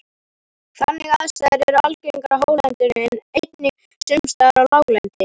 Þannig aðstæður eru algengar á hálendinu en einnig sums staðar á láglendi.